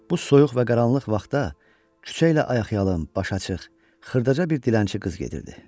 Bu soyuq və qaranlıq vaxta küçə ilə ayaqyalın, baş açıq, xırdaca bir dilənçi qız gedirdi.